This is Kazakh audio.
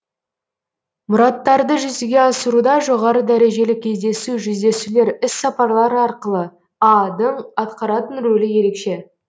мұраттарды жүзеге асыруда жоғары дәрежелі кездесу жүздесулер іссапарлар арқылы а дың атқаратын рөлі ерекше